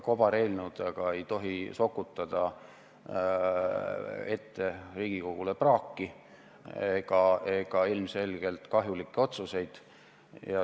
Kobareelnõudega ei tohi sokutada Riigikogule ette praaki ja ilmselgelt kahjulikke otsuseid.